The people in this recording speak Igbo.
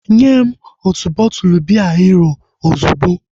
Nyem otu bọtụlu biya Hero ozugbo!